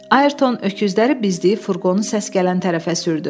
Ayrton öküzləri bizdiyib furqonu səs gələn tərəfə sürdü.